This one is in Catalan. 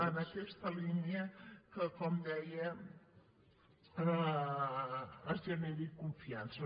en aquesta línia que com deia es generi confiança